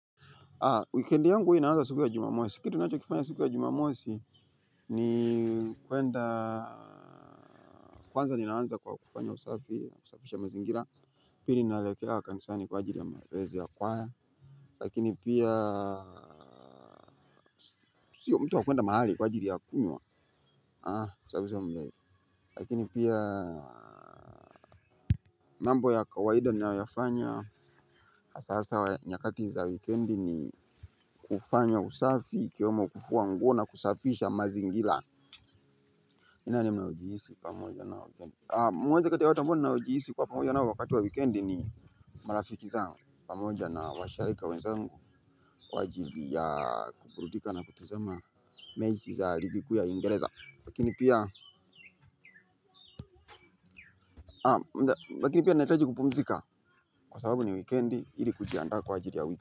Weekend yangu huwa inaanza siku ya jumamosi. Kitu ninacho kifanya siku ya jumamosi ni kwenda, kwanza ninaanza kwa kufanya usafi, kusafisha mazingira, pili naelekea kanisani kwaajili ya mazoezi ya kwaya. Lakini pia sio mtu wa kwenda mahali kwaajili ya kunywa, a, a, a asaivi sio mlevi. Lakini pia mambo ya kawaida ninayoyafanya hasa hasa nyakati za weekend ni kufanya usafi ikiwemo kufua nguo na kusafisha mazingira. Pamoja na wageni. Moja kati ya watu ambao ninaojihisi kuwa pamoja nao wakati wa weekend ni marafiki zangu pamoja na washaeka wenzangu kwaajili ya kuburudika na kutizama mechi za ligi kuu ya uingereza lakini pia lakini pia nahitaji kupumzika kwasababu ni weekend ili kujiaanda kwaajili ya wiki.